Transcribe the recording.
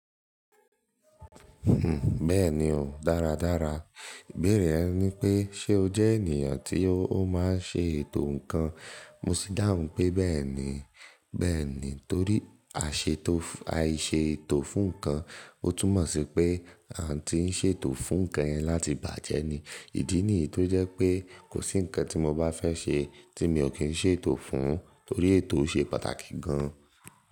Hm, bẹ́ẹ̀ni o, dáradára. Ìbéèrè yẹn ní pé ṣe o jẹ́ ènìyàn tí o ó máa ń ṣe ètò nǹkan? Mo sí dáhùn pé bẹ́ẹ̀ni, bẹ́ẹ̀ni torí a ṣe to, a i sètò fún nǹkan. Ó tún mọ̀ sí pé àǹtí ń ṣe ètò fún nǹkan yẹn láti bàjẹ́ ni, ìdí nìyí tó jẹ́ pé kò sí nǹkan tí mo bá fẹ́ ṣe tí mi ò kí ń ṣe ètò fún, torí ètò ṣe pàtàkì gan.